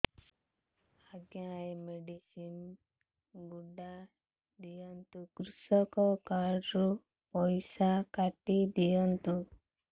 ଆଜ୍ଞା ଏ ମେଡିସିନ ଗୁଡା ଦିଅନ୍ତୁ କୃଷକ କାର୍ଡ ରୁ ପଇସା କାଟିଦିଅନ୍ତୁ